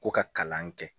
Ko ka kalan kɛ